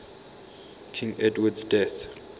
king edward's death